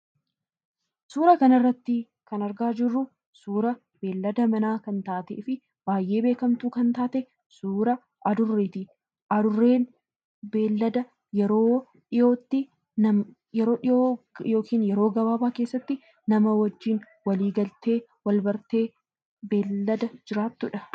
Suuraa kana irratti kan argaa jiruu suuraa beladaa mana kantate fi baay'ee beekamtu kan tatee suuraa Adureetti. Adureen beelada yeroo dhihootti yookiin yeroo gabaabaa keessatti nama wajiin wali galtee wal bartee belada jiratuudha.